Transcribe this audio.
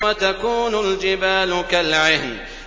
وَتَكُونُ الْجِبَالُ كَالْعِهْنِ